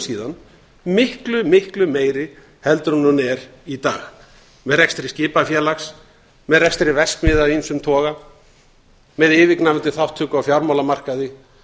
síðan miklu miklu meiri heldur en hún er í dag með rekstri skipafélags með rekstri verksmiðja af ýmsum toga með yfirgnæfandi þátttöku á fjármálamarkaði